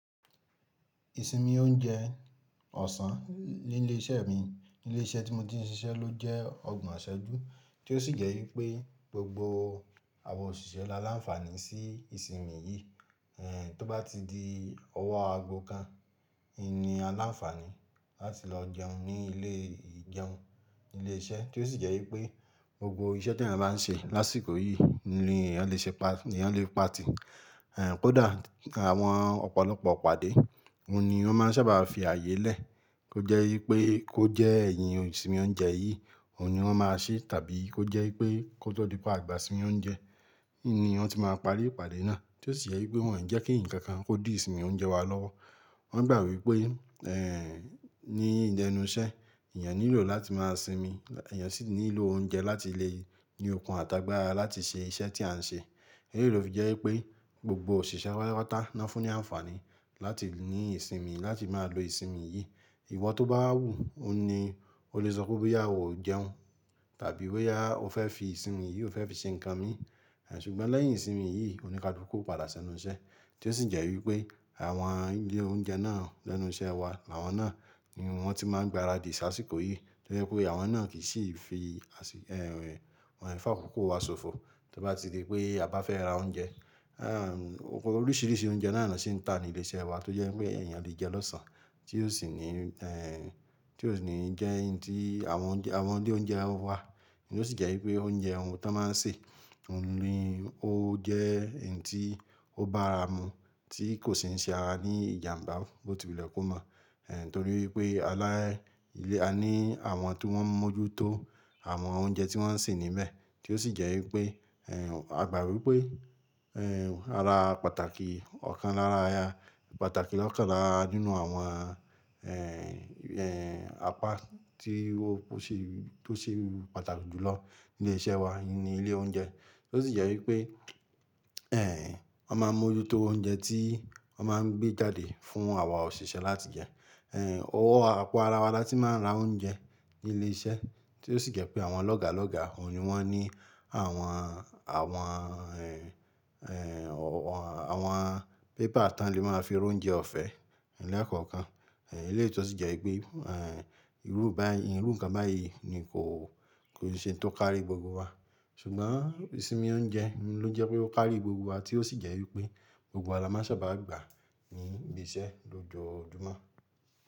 Ìsinmi oúnjẹ ọ̀sán ní ilé iṣẹ́ mi, ilé iṣẹ́ tí mo ti ń ṣiṣẹ́ ló jẹ́ ọgbọ̀n iṣẹ ju, tí ó sì jẹ́ wípé gbogbo àwọn òṣìṣẹ́ la láǹfààní sí ìsinmi yìí. Eh, tó bá ti di ọwọ́ ago kan, ìní aláfàní láti lọ jẹun ní ilé ìjẹun ilé iṣẹ́, tí ó sì jẹ́ wípé gbogbo iṣẹ́ tí ẹyan bá ń ṣe lásìkò yìí ni èèyàn lè ṣe pa, èèyàn lè pa tì. Eh, kódà àwọn ọ̀pọ̀lọpọ̀ ìpàdé, òun ni wọ́n máa ń sábà fi ààyè lẹ̀. Ó jẹ́ wípé kó jẹ́ ẹ̀yin ìsinmi oúnjẹ yìí, òun ni wọ́n máa ṣe, tàbí kó jẹ́ wípé kó tó di pa àgbà ìsinmi oúnjẹ, òun ni wọn ti máa parí ìpàdé náà. Tí ó sì jẹ́ wípé wọn jẹ́ kí ǹkan kan kó di ìsinmi oúnjẹ wa lọ́wọ́. Wọn gbà wípé eh, ní idi enu iṣẹ́ èèyàn nílò láti máa sinmi, èèyàn sì nílò oúnjẹ láti lè ní okun àtàgbàra láti ṣe iṣẹ́ tí à ń ṣe. Èyí ló fi jẹ́ wípé gbogbo òṣìṣẹ́ wa patapata ná fún ní àǹfààní láti ní ìsinmi, láti máa lo ìsinmi yìí. Ìwọ tó bá wù, òun ni o lè sọ pé bo yà ò jẹun tàbí bo yà ò fẹ́ fi ìsinmi yìí, o fẹ́ fi ṣe ǹkan mi. Eh, ṣùgbọ́n lẹ́yìn ìsinmi yìí, o ni kaluku o padà sẹ́nu iṣẹ́. Tí ó sì jẹ́ wípé àwọn ilé oúnjẹ náà lẹ́nu iṣẹ́ wa, àwọn náà ni wọ́n ti máa ń gbaradì ṣá àsìkò yìí. Tí ó jẹ́ pé àwọn náà kì í sì fi àsì, eh, wọ́n fàkókò wa ṣòfò. Tó bá ti di pé a bá fẹ́ ra oúnjẹ, eh, oríṣìíríṣìí oúnjẹ náà ni wọ́n sì ń ta ní ilé iṣẹ́ wa tí ó jẹ́ wípé èèyàn lè jẹ lọ́sàn-án. Tí ó sì ní eh, tí ó sì ní jẹ́ ǹ tí àwọn oúnjẹ, àwọn ilé oúnjẹ wá. Ni ó sì jẹ́ wípé oúnjẹ ohun tó máa ń ṣe, òun ni ó jẹ́ ǹ tí ó bá ara mu tí kò sì ń ṣe ara ní ìjàmbá, bó ti wule kò mọ̀. Eh, nítorí wipé alá ilé a ní àwọn tí wọ́n ń mójútó àwọn oúnjẹ tí wọ́n ń sè níbẹ̀. Tí ó sì jẹ́ wípé, a gbà wípé, ara pàtàkì ọ̀kan lára, pàtàkì lọ́kàn lára nínú àwọn apá tí ó ṣe, tó ṣe pàtàkì jù lọ ní ilé iṣẹ́ wa ni ilé oúnjẹ. Tí ó sì jẹ́ wípé, wòn máa ń mójútó oúnjẹ tí wòn máa ń gbé jáde fún àwa òṣìṣẹ́ láti jẹ. Owó àpò ara wa la tí máa ń ra oúnjẹ ní ilé iṣẹ́. Tí ó sì jẹ́ pé àwọn lọ́gàlọ́gà òun ni wọ́n ní àwọn, àwọn, àwọn pépà ti wòń lè máa fi rá oúnjẹ ọ̀fẹ́ ni ekọ̀ọ̀kan. Eléyi tó sì jẹ́ wípé irú báyìí, irú ǹkan báyìí ni kò, kò sí ohun tí ó kárí gbogbo wa. Ṣùgbọ́n ìsinmi oúnjẹ ló jẹ́ pé ó kárí gbogbo wa tí ó sì jẹ́ wípé gbogbo wa la máa ń sábà gbà níbi iṣẹ́ lójoojúmọ́.